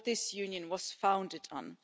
what this Union was founded on.